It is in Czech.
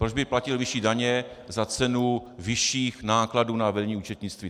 Proč by platil vyšší daně za cenu vyšších nákladů na vedení účetnictví?